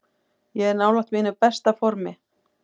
Ég er nálægt mínu besta formi.